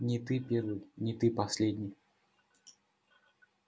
не ты первый не ты последний